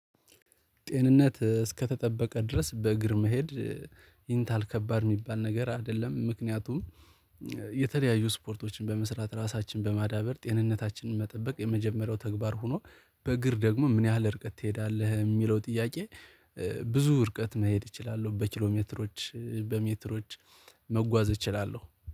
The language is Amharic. ጤንነት እስከተጠበቀ ድረስ በእግር መሄድ ይንታል ከባድ ሚባል ነገር አይደለም ምክንያቱም የተለያዩ ስፖርቶችን በመስራት ራሳችንን በማዳበር ጤንነታችንን መጠበቅ የመጀመሪያው ተግባር ሆኖ በእግር ደግሞ ምን ያህል ርቀት ትሄዳለህ እሚለው ጥያቄ ብዙ ርቀት መሄድ እችላለሁ በኪሎሜትሮች በሜትሮች መጓዝ እችላለሁ።